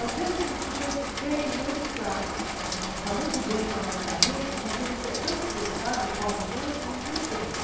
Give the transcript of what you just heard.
Às vezes o sujeito tem muita está muito bem economicamente, mas ele é tão estressado e corre tanto que não tem tempo.